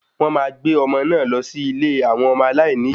Wón máa gbé ọmọ náà lọ sí ilé àwọn ọmọ aláìní ìyá